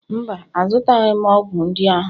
mba, azụtaghị m ọgwụ ndị ahụ